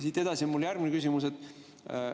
Siit edasi on mul järgmine küsimus.